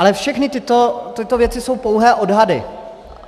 Ale všechny tyto věci jsou pouhé odhady.